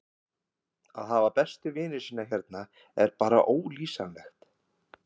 Að hafa bestu vini sína hérna er bara ólýsanlegt.